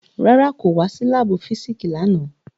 Rárá, ko wa si laabu fisiksi làná